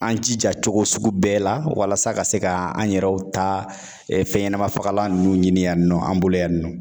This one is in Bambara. An jija cogo sugu bɛɛ la ,walasa ka se ka an yɛrɛw ta fɛn ɲɛnama fagalan ninnu ɲini yan nɔ an bolo yan nɔ.